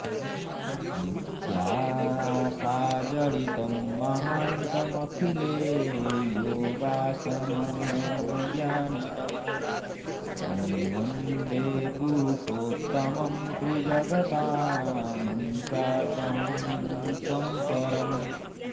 नित्या सा जडितं महान्तमखिले योगासनज्ञानिनं तं वन्दे पुरुषोत्तमं त्रिजगतामंशार्कहंसं परम्